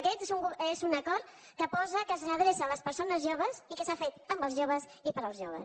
aquest és un acord que posa que s’adreça a les persones joves i que s’ha fet amb els joves i per als joves